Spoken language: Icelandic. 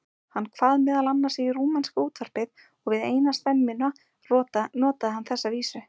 Hann kvað meðal annars í rúmenska útvarpið og við eina stemmuna notaði hann þessa vísu